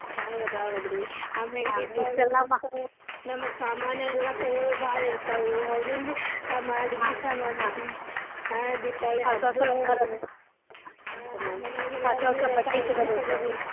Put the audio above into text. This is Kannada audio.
ಹೌದ್ ಹೌದ್ ರೀ ಆಮೇಲ್ ನಮಗ್ ಸಾಮಾನಾ ಎಲ್ಲಾ ತಗೊಳೋವ್ ಬಾಳ್ ಇರ್ತಾವು ಹೌದಿಲ್ಲರ್ರೀ? ನಮ್ಮ್ ಅಡ್ಗಿ ಸಾಮಾನ ಹಾ.